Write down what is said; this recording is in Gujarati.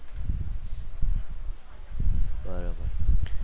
બરોબર